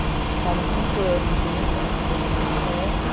Ficaram cinco anos juntos, aí acabou não dando certo.